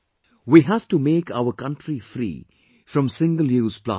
We have to make our country free from single use plastic